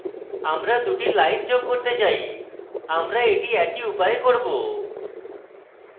আমরা দুটি lines যোগ করতে say আমরা এটি একই উপায়ে করব